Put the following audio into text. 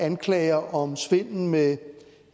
anklager om svindel med